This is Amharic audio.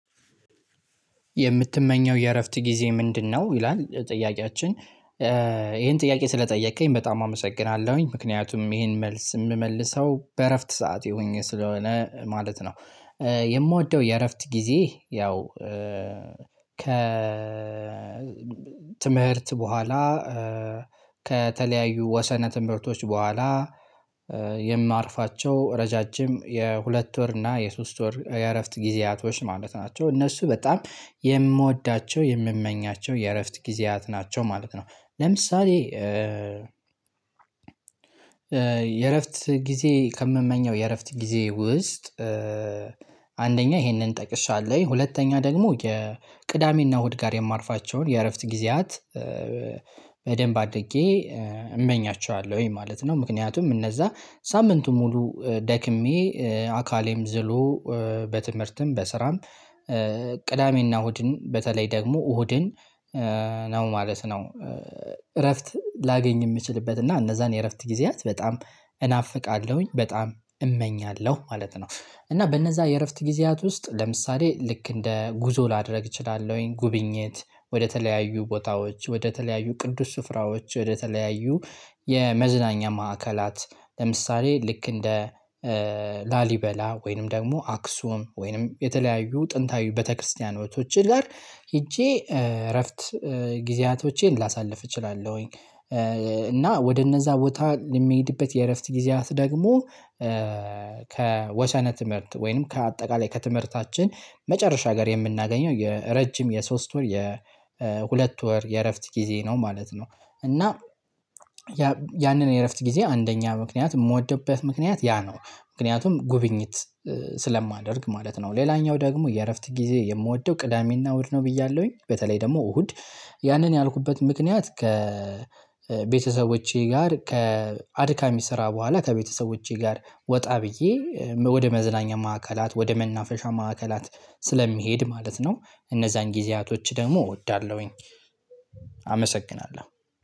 የምትመኘው የእረፍት ጊዜ ምንድነው? ይላል ጥያቄያችን ይሄን ጥያቄ ስለጠየከኝ በጣም አመሰግናለሁኝ ምክንያቱም ይሄን መልስ የምመልሰው በእረፍት ሰዓት ሆኜ ስለሆነ ማለት ነው። የምወደው የእረፍት ጊዜ ያው። ከ ትምህርት በኋላ ከተለያዩ ወሰነ ትምህርቶች በኋላ የማርፋቸው ረዣዥም የሁለት ወር እና የሶስት ወር የእረፍት ጊዜያቶች ማለት ናቸው እነሱ በጣም የምወዳቸው የምመኛቸው የእረፍት ጊዜያት ናቸው ማለት ነው። ለምሳሌ የእረፍት ጊዜ ከምመኘው የእረፍት ጊዜ ውስጥ። አንደኛ ይሄንን ጠቅሻለኝ ሁለተኛ ደግሞ የቅዳሜና እሁድ ጋር የማርፋቸውን የእረፍት ጊዜያት በደንብ አድጌ እመኛቸዋለሁኝ ማለት ነው። ምክንያቱም እነዛ ሳምንቱ ሙሉ ደክሜ አካሌም ዝሎ በትምህርትም በስራም ቅዳሜና እሁድን በተለይ ደግሞ እሁድን ነው ማለት ነው። እረፍት ላገኝ የምችልበት እና እነዛን የእረፍት ጊዜያት በጣም እናፍቃለሁኝ በጣም እመኛለሁ ማለት ነው። እና በእነዛ የእረፍት ጊዜያት ውስጥ ለምሳሌ ልክ እንደ ጉዞ ላደርግ እችላለሁኝ። ጉብኝት ወደተለያዩ ቦታዎች ወደተለያዩ ቅዱስ ስፍራዎች ወደተለያዩ የመዝናኛ ማዕከላት ለምሳሌ ልክ እንደ ላሊበላ ወይንም ደግሞ አክሱም ወይንም የተለያዩ ጥንታዊ ቤተክርስቲያናቶች ጋር ሄጄ እረፍት ጊዜያቶቼን ላሳልፍ እችላለሁኝ። እና ወደ እነዛ ቦታ የሚሄድበት የእረፍት ጊዜያት ደግሞ ከወሰነ ትምህርት ወይንም ከአጠቃላይ ከትምህርታችን መጨረሻ ጋር የምናገኘው የረጅም የሶስት ወር የሁለት ወር የእረፍት ጊዜ ነው ማለት ነው። እና ያንን የእረፍት ጊዜ አንደኛ ምክንያት የምወድበት ምክንያት ያ ነው ምክንያቱም ጉብኝት ስለማደርግ ማለት ነው። ሌላኛው ደግሞ የእረፍት ጊዜ የምወደው ቅዳሜና እሁድ ነው ብያለሁኝ። በተለይ ደግሞ እሁድ ያንን ያልኩበት ምክንያት ከ ቤተሰቦቼ ጋር ከአድካሚ ስራ በኋላ ከቤተሰቦቼ ጋር ወጣ ብዬ ወደ መዝናኛ ማዕከላት ወደ መናፈሻ ማዕከላት ስለሚሄድ ማለት ነው። እነዛን ጊዜያቶች ደግሞ እወዳለሁኝ።